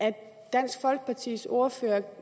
om dansk folkepartis ordfører